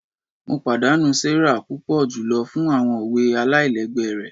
Mo padanu Sarah pupọ julọ fun awọn owe alailẹgbẹ rẹ